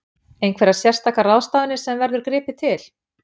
Einhverjar sérstakar ráðstafanir sem verður gripið til?